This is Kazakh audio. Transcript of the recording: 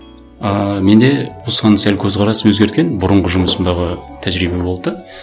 ыыы менде осыған сәл көзқарасым өзгерген бұрынғы жұмысымдағы тәжірибе болды да